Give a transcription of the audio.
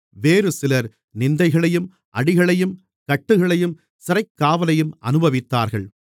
வேறுசிலர் நிந்தைகளையும் அடிகளையும் கட்டுகளையும் சிறைக்காவலையும் அனுபவித்தார்கள்